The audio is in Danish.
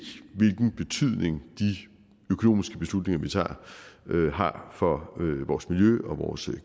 hvilken betydning de økonomiske beslutninger vi tager har for vores miljø og vores